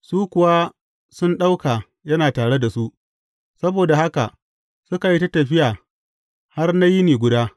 Su kuwa sun ɗauka yana tare da su, saboda haka, suka yi ta tafiya har na yini guda.